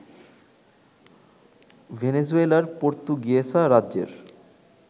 ভেনেজুয়েলার পর্তুগুয়েসা রাজ্যের